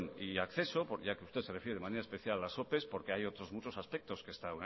y acceso ya que usted se refiere de manera especial a las opes porque hay otros muchos aspectos que